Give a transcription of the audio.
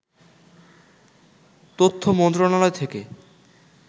তথ্য মন্ত্রণালয় থেকে